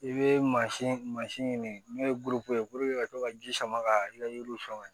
I bɛ mansin mansin ɲini n'o ye ye ka to ka ji sama ka i ka yiriw sɔn